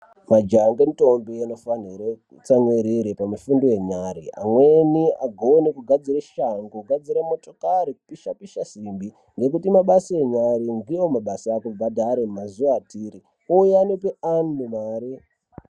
Majaha nendombi anofanirwe kutsamwirire pamufundo yenya. Amweni agone kugadzira shangu kugadzire motikari kupisha-pisha simbi. Ngekuti mabase enyare ndivo akubhadhare mazuva atiri uye anope antu mare.